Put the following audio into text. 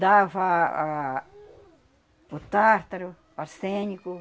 Dava ah, o tártaro, o arsênico.